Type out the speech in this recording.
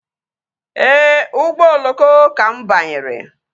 Ee, ụgbọ oloko ka mụ banyere